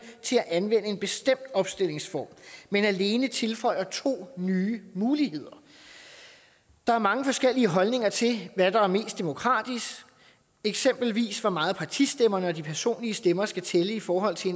til at anvende en bestemt opstillingsform men alene tilføjer to nye muligheder der er mange forskellige holdninger til hvad der er mest demokratisk eksempelvis hvor meget partistemmerne og de personlige stemmer skal tælle i forhold til